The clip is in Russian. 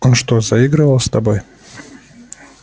он что заигрывал с тобой